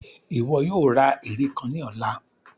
Iwọ yoo ra ere kan ni ọla!